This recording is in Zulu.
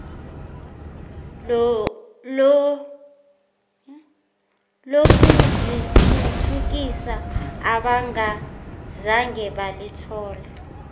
lokuzithuthukisa abangazange balithola